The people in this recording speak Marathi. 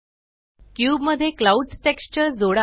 क्यूब मध्ये क्लाउड्स टेक्सचर जोडा